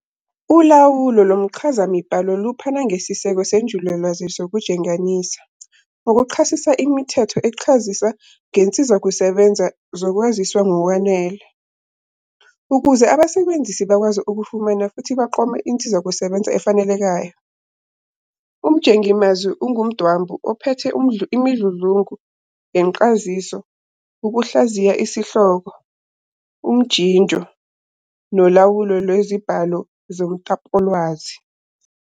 Ulawulo lomchazamibhalo luphana ngesiseko senjulalwazi sokujenganisa, ngokuchasisa imithetho echazisa ngezinsizakusebenza zokwaziswa ngokwanele, ukuze abasebenzisi bakwazi ukufumana futhi baqome insizakusebenza efanelekayo. Umjengimazwi ungumdwambu ophethe imidludlungu yencaziso, ukuhlaziya isihloko, umjinjo, nolawulo lwezibhalo zomtapowolwazi.